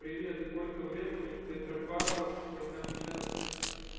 привет сколько времени в петропавловске-камчатском